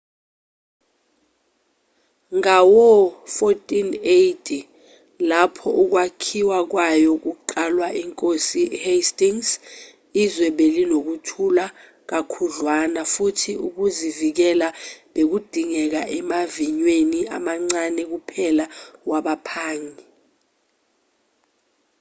ngawo-1480 lapho ukwakhiwa kwayo kuqalwa inkosi uhastings izwe belinokuthula kakhudlwana futhi ukuzivikela bekudingeka emaviyweni amancane kuphela wabaphangi